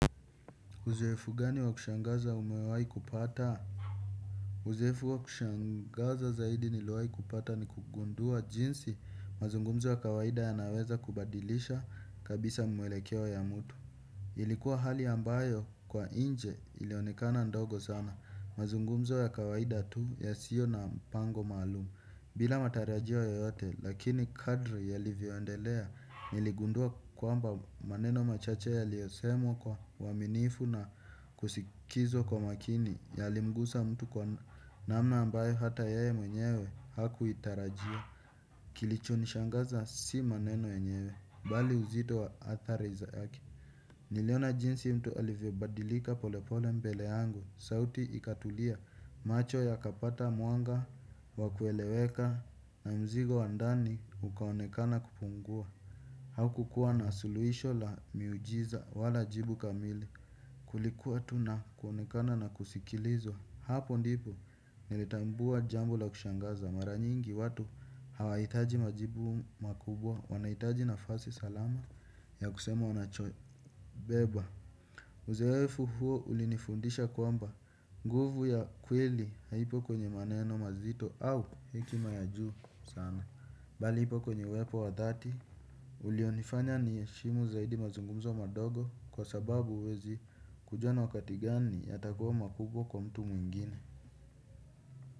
Uzoefu gani wa kushangaza umewai kupata? Uzoefu wa kushangaza zaidi niliowai kupata ni kugundua jinsi mazungumzo wa kawaida yanaweza kubadilisha kabisa mwelekeo ya mtu. Ilikuwa hali ambayo kwa inje ilionikana ndogo sana. Mazungumzo ya kawaida tu yasio na mpango maalumu. Bila matarajio yoyote lakini kadri yalivyoendelea niligundua kwamba maneno machache yaliosemwa kwa uaminifu na kusikizwa kwa makini yalimguza mtu kwa namna ambayo hata yeye mwenyewe hakuitarajia. Kilicho nishangaza si maneno yenyewe, bali uzito wa athari zake. Niliona jinsi mtu alivyobadilika polepole mpele yangu, sauti ikatulia, macho yakapata mwanga, wa kueleweka, na mzigo wa ndani ukaonekana kupungua. Haukukua na suluisho la miujiza wala jibu kamili. Kulikuwa tu na kuonekana na kusikilizwa. Hapo ndipo nilitambua jambo la kushangaza. Mara nyingi watu hawaitaji majibu makubwa. Wanaitaji nafasi salama ya kusema wanachobeba. Uzoefu huu ulinifundisha kwamba nguvu ya kweli haipo kwenye maneno mazito au hekima ya juu sana. Bali ipo kwenye uwepo wa dhati. Ulionifanya niheshimu zaidi mazungumzo madogo. Kwa sababu uwezi kujua ni wakati gani yatakuwa makubwa kwa mtu mwingine.